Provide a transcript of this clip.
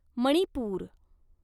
Manipur